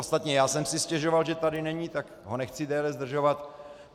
Ostatně já jsem si stěžoval, že tady není, tak ho nechci déle zdržovat.